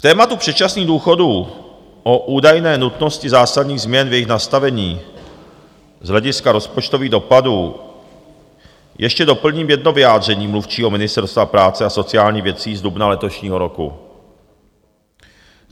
K tématu předčasných důchodů a údajné nutnosti zásadních změn v jejich nastavení z hlediska rozpočtových dopadů ještě doplním jedno vyjádření mluvčího Ministerstva práce a sociálních věcí z dubna letošního roku.